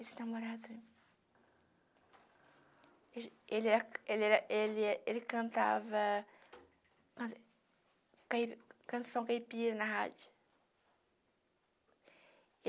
Esse namorado, ele é ele era ele é ele cantava can canção caipira na rádio.